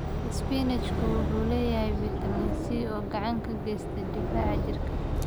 Isbaanishku wuxuu leeyahay fitamiin C oo gacan ka geysata difaaca jirka.